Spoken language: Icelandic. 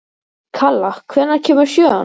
Kala, hvenær kemur sjöan?